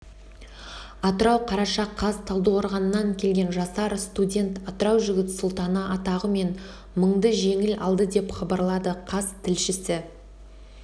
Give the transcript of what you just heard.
атырау қараша қаз талдықорғаннан келген жасар студент атырау жігіт сұлтаны атағы мен мыңды жеңіп алды деп хабарлады қаз тілшісі